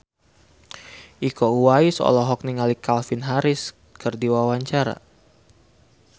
Iko Uwais olohok ningali Calvin Harris keur diwawancara